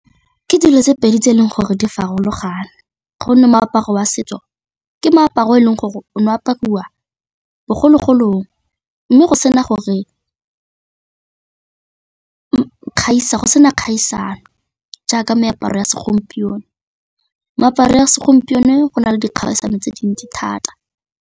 Ke dilo tse pedi tse e leng gore di farologane gonne moaparo wa setso ke meaparo e leng gore o ne apariwa bogologolong mme go sena kgaisano jaaka meaparo ya segompieno, meaparo ya segompieno go na le dikgaisano tse dintsi thata.